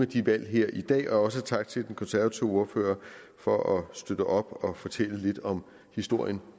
de valg her i dag også tak til den konservative ordfører for at støtte op og fortælle lidt om historien